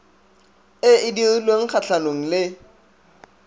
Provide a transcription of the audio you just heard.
e e dirilweng kgatlhanong le